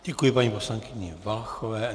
Děkuji paní poslankyni Valachové.